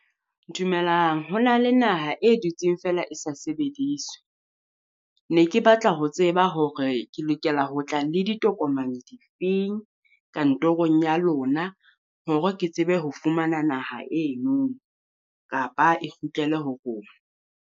Dumelang ho na le naha e dutseng feela e sa sebediswe. Ne ke batla ho tseba hore ke lokela ho tla le ditokomane difeng kantorong ya lona, hore ke tsebe ho fumana naha eno kapa e kgutlele ho rona.